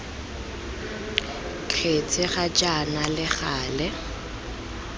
kgetse ga jaana le gale